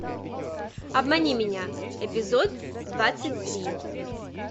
обмани меня эпизод двадцать три